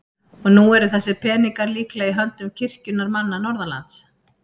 Og nú eru þessir peningar líklega í höndum kirkjunnar manna norðanlands?